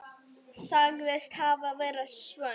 Sagðist hafa verið svöng.